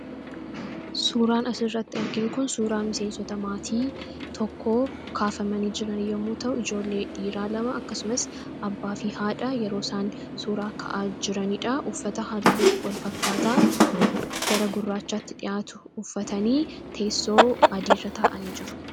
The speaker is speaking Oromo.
Suuraan asirratti arginu kun suuraa miseensota maatii tokkoo kaafamanii jiran yommuu ta'u, ijoollee dhiiraa lama akkasumas abbaafi haadha yeroo isaan suuraa ka'aa jiranidha. Uffata halluu wal fakkaataa gara gurraachaatti dhiyaatu uffatanii teessoo adiirra taa'anii jiru.